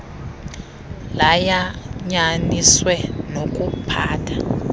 layan yaniswe nokuphatha